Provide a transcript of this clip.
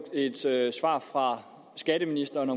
et svar fra skatteministeren